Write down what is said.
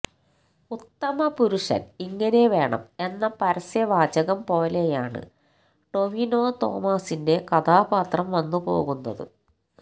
ഉത്തമ പുരുഷന് ഇങ്ങനെ വേണം എന്ന പരസ്യ വാചകം പോലെയാണ് ടൊവിനോതോമസിന്റെ കഥാപാത്രം വന്നുപോകുന്നത്